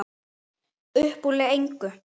Uppúr engu?